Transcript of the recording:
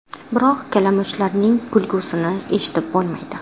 Biroq kalamushlarning kulgisini eshitib bo‘lmaydi.